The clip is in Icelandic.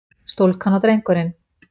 Stúlkan og drengurinn.